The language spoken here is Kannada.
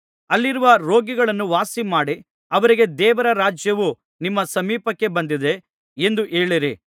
ಅಲ್ಲಿರುವ ರೋಗಿಗಳನ್ನು ವಾಸಿಮಾಡಿ ಅವರಿಗೆ ದೇವರ ರಾಜ್ಯವು ನಿಮ್ಮ ಸಮೀಪಕ್ಕೆ ಬಂದಿದೆ ಎಂದು ಹೇಳಿರಿ